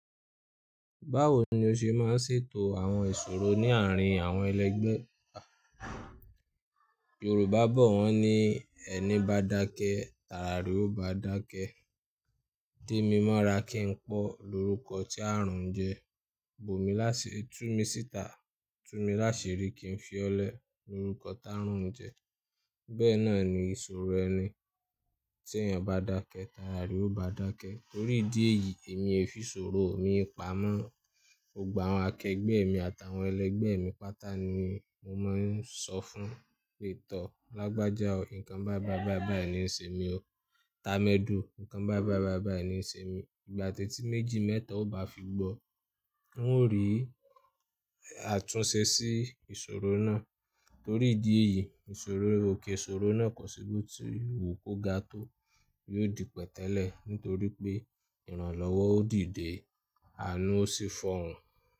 Báwo ni o ṣe máa ń ṣètò àwọn ìṣòro ní àárín àwọn ẹlẹgbẹ́? Yorùbá bọ̀ wọ́n ní, “Ẹni bá dákẹ́, tara re ó bá dákẹ́.” Démímọ́ra kì n pọ́ lorúkọ tí ààrùn jẹ. Bomi lásiri, Tumisita Tumilásirí kì n fi ọ́ lẹ̀ lorúkọ táàrùn jẹ. Bẹ́ẹ̀ náà ni ìṣòro ẹni, tí ẹ́yań bá dákẹ́, tara re ó bá dákẹ́. Torí ìdí èyí, èmi ẹ fi ìṣòro mii pamọ́. Gbogbo àwọn akẹgbẹ́ mi àtàwọn ẹlẹgbẹ́ mi pátá ni mo máa ń sọ fún un pé, ‘Tọ́ ọ lágbájá o, nǹkan bái bái bài bai lo ń ṣe mi o. Ta mẹ́dù nǹkan bái bái bài bái ńi ṣe mi.’ Ìgbà tẹ́tí méjì mẹ́ta ó bá fi gbọ́, wọn ó rí àtúnṣe sí ìṣòro náà. Torí ìdí èyí, ìṣòro òkè ìṣòro náà kò ṣi bo tí wu kó ga tó. Yóò di pẹ̀tẹ́lẹ̀ nítorí pé ìrànlọ́wọ́ ó dìde, àánú ó sì fọhùn.